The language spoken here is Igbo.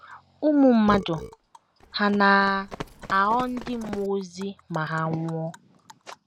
Ụmụ Mmadụ Hà Na - aghọ Ndị Mmụọ Ozi Ma Ha Nwụọ?